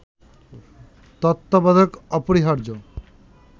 তত্ত্বাবধায়ক অপরিহার্য